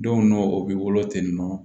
Don dɔ o bɛ wolo ten nɔ